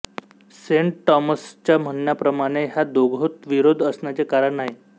Saint टॉमसच्या म्हणण्याप्रमाणे ह्या दोहोत विरोध असण्याचे कारण नाही